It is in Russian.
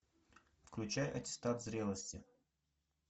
включай аттестат зрелости